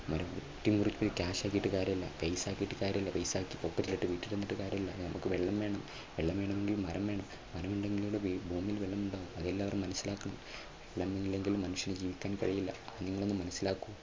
വെട്ടി മുറിച്ച് cash ആക്കിയിട്ട് കാര്യമില്ല paisa കാര്യമില്ല paisapocket ലിട്ട് വീട്ടിൽ വന്നിട്ട് കാര്യമില്ല നമുക്ക് വെള്ളം വേണം വെള്ളം വേണമെങ്കിൽ മരം വേണം മരമുണ്ടെങ്കിൽ അല്ലേ ഭൂമിയിൽ വെള്ളമുണ്ടാകൂ. അത് എല്ലാവരും മനസ്സിലാക്കണം വെള്ളമില്ലെങ്കിൽ മനുഷ്യന് ജീവിക്കാൻ കഴിയില്ല അത് നിങ്ങളൊന്ന് മനസ്സിലാക്കൂ.